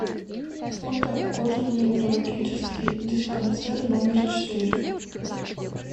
фото кожно венерологический диспансер номер четыре